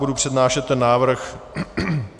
Budu přednášet ten návrh.